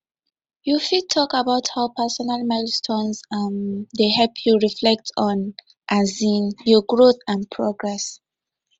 you fit talk about how personal milestones um dey help you reflect on um your growth and progress